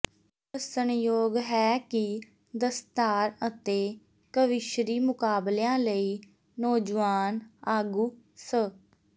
ਦੱਸਣਯੋਗ ਹੈ ਕਿ ਦਸਤਾਰ ਅਤੇ ਕਵੀਸ਼ਰੀ ਮੁਕਾਬਲਿਆਂ ਲਈ ਨੌਜੁਆਨ ਆਗੂ ਸ